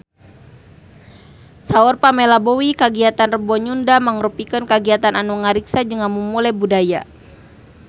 Saur Pamela Bowie kagiatan Rebo Nyunda mangrupikeun kagiatan anu ngariksa jeung ngamumule budaya Sunda